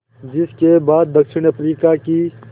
जिस के बाद दक्षिण अफ्रीका की